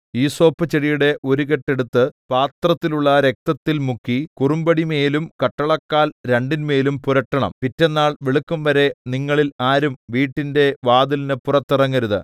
ഈസോപ്പുചെടിയുടെ ഒരു കെട്ട് എടുത്ത് പാത്രത്തിലുള്ള രക്തത്തിൽ മുക്കി കുറുമ്പടിമേലും കട്ടളക്കാൽ രണ്ടിന്മേലും പുരട്ടണം പിറ്റെന്നാൾ വെളുക്കുംവരെ നിങ്ങളിൽ ആരും വീട്ടിന്റെ വാതിലിന് പുറത്തിറങ്ങരുത്